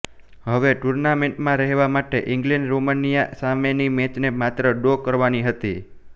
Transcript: હવે ટુર્નામેન્ટમાં રહેવા માટે ઇંગ્લેન્ડે રોમાનિયા સામેની મેચને માત્ર ડ્રો કરવાની હતી